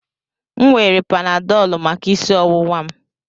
M were panadolu maka isi ọwụwa m.